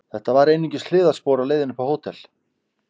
Þetta var einungis hliðarspor á leiðinni upp á hótel.